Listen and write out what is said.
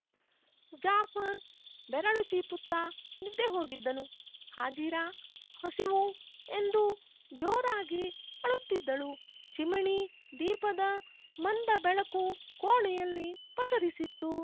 ಜಾಫರ್ ಬೆರಳು ಚೀಪುತ್ತಾ ನಿದ್ದೆ ಹೋಗಿದ್ದನು ಹಾಜಿರಾ ಹಸಿವೂ ಎಂದು ಜೋರಾಗಿ ಅಳುತ್ತಿದ್ದಳು ಚಿಮಿಣಿ ದೀಪದ ಮಂದ ಬೆಳಕು ಕೋಣೆಯಲ್ಲಿ ಪಸರಿಸಿತ್ತು